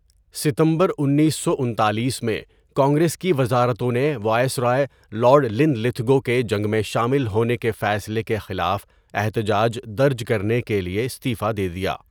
ستمبر انیسو انتالیس میں، کانگریس کی وزارتوں نے وائسرائے لارڈ لِن لِتھگو کے جنگ میں شامل ہونے کے فیصلے کے خلاف احتجاج درج کرنے کے لیے استعفیٰ دے دیا۔